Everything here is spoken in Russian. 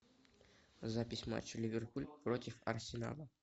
запись матча ливерпуль против арсенала